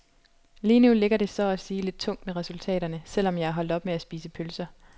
Lige nu ligger det så at sige lidt tungt med resultaterne, selv om jeg er holdt op med at spise pølser.